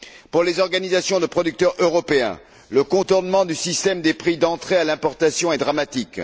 Pour les organisations de producteurs européens, le contournement du système des prix d'entrée à l'importation est dramatique.